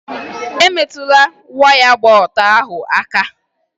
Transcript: Emetụla waya gba ọtọ ahụ aka!